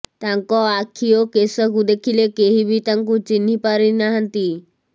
ତାଙ୍କ ଆଖି ଓ କେଶକୁ ଦେଖିଲେ କେହି ବି ତାଙ୍କୁ ଚିହ୍ନି ପାରିନାହାନ୍ତି